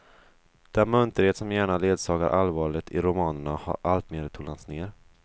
Den munterhet som gärna ledsagar allvaret i romanerna har alltmer tonats ned.